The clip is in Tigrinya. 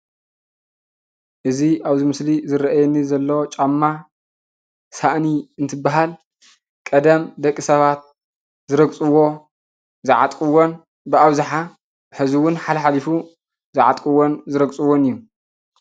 እዚ አብዚ ምስሊ ዝረአየኒ ዘሎ ጫማ ሳእኒ እንትባሃል ቀደም ደቂ ሰባት ዝረግፅዎን ዝዓጥቅዎን ብአብዛሓ ሕዚ እውን ሓለሓሊፉ ዝረግፅዎን ዝዓጥቅዎን እዩ፡፡